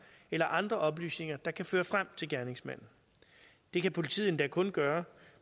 eller andre oplysninger der kan føre frem til gerningsmanden det kan politiet endda kun gøre